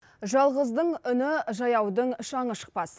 жалғыздың үні жаяудың шаңы шықпас